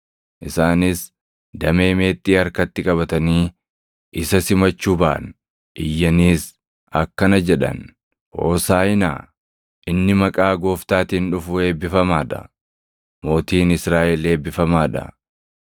Isaanis damee meexxii harkatti qabatanii isa simachuu baʼan; iyyaniis akkana jedhan; “Hoosaaʼinaa!” + 12:13 Hoosaaʼinaa jechuun afaan Ibraayisxiitiin “Amma fayyisi” jechuu dha; kunis jecha galataa ti. “Inni maqaa Gooftaatiin dhufu eebbifamaa dha!” + 12:13 \+xt Far 118:25,26\+xt* “Mootiin Israaʼel eebbifamaa dha!”